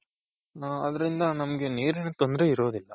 ಹ ಅದರಿಂದ ನಮಗೆ ನೀರಿನ ತೊಂದ್ರೆ ಇರೋದಿಲ್ಲ.